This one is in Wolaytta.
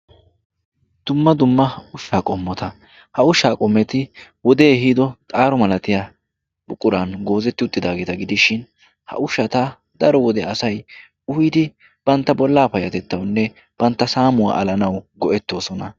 Dumma dumma ushshaa qommota, ha ushshaa qommoti wodee ehiido xaaro malatiya buquran goozetti uttidaageta gidishin ha ushshata daro wode asay uyidi bantta bollaa payatettawunne bantta saamuwa alanawu go"ettosona.